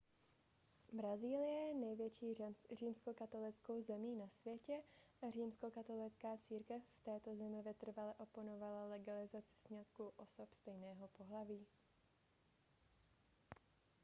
brazílie je největší římskokatolickou zemí na světě a římskokatolická církev v této zemi vytrvale oponovala legalizaci sňatků osob stejného pohlaví